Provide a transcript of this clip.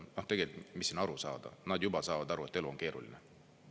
Noh, tegelikult, mis siin aru saada, nad juba saavad aru, et elu on keeruline.